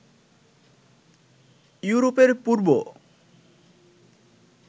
ইউরোপের পূর্ব